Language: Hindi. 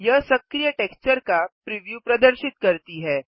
यह सक्रिय टेक्सचर का प्रिव्यू प्रदर्शित करती है